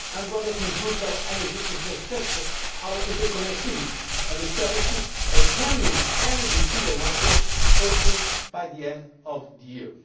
and one that improves our energy infrastructure, our interconnectivity, and establishes a genuine energy single market by the end of